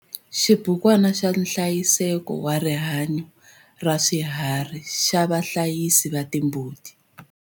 Xibukwana xa nhlayiseko wa rihanyo ra swiharhi xa vahlayisi va timbuti.